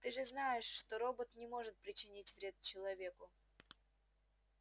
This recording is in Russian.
ты же знаешь что робот не может причинить вред человеку